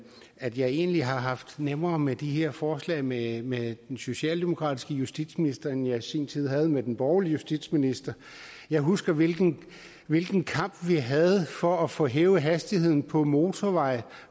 at jeg egentlig har haft det nemmere med de her forslag med med den socialdemokratiske justitsminister end jeg i sin tid havde med den borgerlige justitsminister jeg husker hvilken hvilken kamp vi havde for at få hævet hastigheden på motorveje